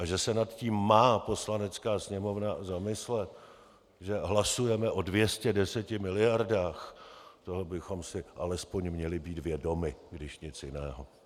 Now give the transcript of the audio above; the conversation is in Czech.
A že se nad tím má Poslanecká sněmovna zamyslet, že hlasujeme o 210 miliardách, toho bychom si alespoň měli být vědomi, když nic jiného.